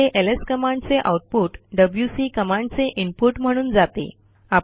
येथे एलएस कमांडचे output WC कमांडचे इनपुट म्हणून जाते